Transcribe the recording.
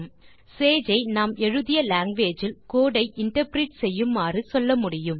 Sage ஐ நாம் எழுதிய லாங்குவேஜ் இல் கோடு ஐ இன்டர்பிரெட் செய்யுமாறு சொல்ல முடியும்